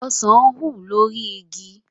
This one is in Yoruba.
Ọsàn wù lórí igi